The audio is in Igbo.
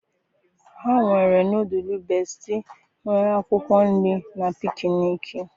ha nwere nọdụlụ bestie nwere akwụkwọ nri na pikniki.